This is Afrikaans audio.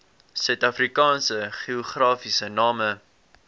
suidafrikaanse geografiese name